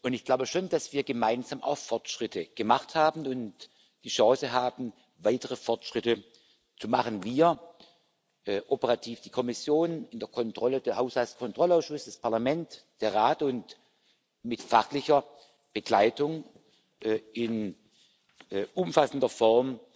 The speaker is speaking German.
Ich glaube schon, dass wir gemeinsam auch Fortschritte gemacht haben und die Chance haben, weitere Fortschritte zu machen wir, operativ die Kommission, in der Kontrolle der Haushaltskontrollausschuss, das Parlament, der Rat und mit fachlicher Begleitung in umfassender Form